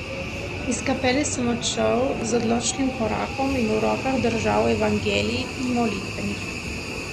Iz kapele sem odšel z odločnim korakom in v rokah držal Evangelij in molitvenik.